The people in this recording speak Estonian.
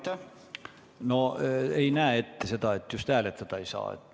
Seadus ei näe ette seda, et hääletada ei saa.